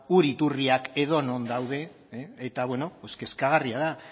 ur iturriak edonon daude eta bueno kezkagarria da